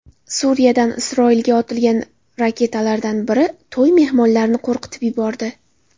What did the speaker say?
Suriyadan Isroilga otilgan raketalardan biri to‘y mehmonlarini qo‘rqitib yubordi.